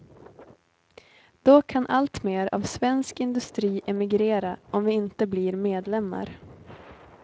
Då kan alltmer av svensk industri emigrera, om vi inte blir medlemmar.